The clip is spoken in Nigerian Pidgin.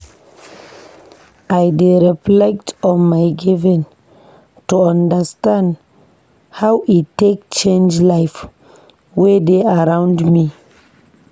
I dey reflect on my giving to understand how e take change life wey dey around me.